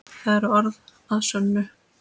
Það eru orð að sönnu.